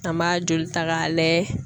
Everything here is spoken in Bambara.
An b'a joli ta k'a layɛ.